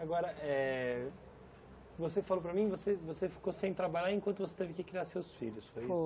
Agora, é... Você falou para mim, você você ficou sem trabalhar enquanto você teve que criar seus filhos, foi isso?